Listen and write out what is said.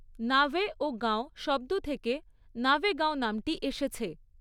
নাভে' ও 'গাঁও' শব্দ থেকে 'নাভেগাঁও' নামটি এসেছে।